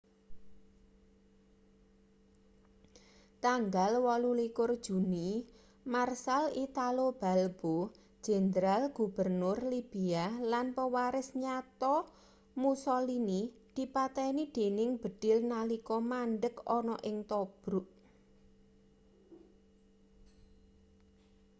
tanggal 28 juni marshal italo balbo jendral-gubernur libia lan pewaris nyata mussolini dipateni dening bedhil nalika mandheg ana ing tobruk